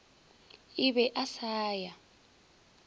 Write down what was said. a be a sa ya